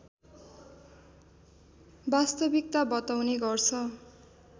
वास्तविकता बताउने गर्छ